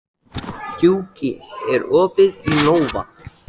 Gjúki, er opið í Nova?